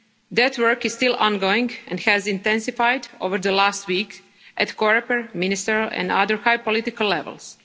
That work is still ongoing and has intensified over the last week at COREPER, ministerial and other high political levels.